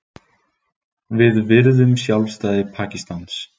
Við virðum sjálfstæði Pakistans